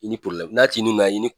I ni n'a ti ni gan i ni